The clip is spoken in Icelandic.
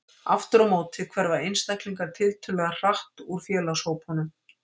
Aftur á móti hverfa einstaklingar tiltölulega hratt úr félagshópunum.